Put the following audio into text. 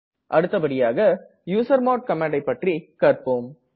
அடுத்தபடியாக யூசர்மாட் ஐ பற்றி கற்ப்போம்